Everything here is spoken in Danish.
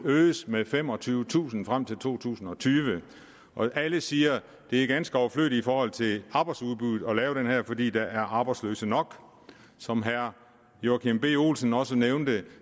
øges med femogtyvetusind frem til to tusind og tyve alle siger at det er ganske overflødigt i forhold til arbejdsudbuddet at lave det her fordi der er arbejdsløse nok som herre joachim b olsen også nævnte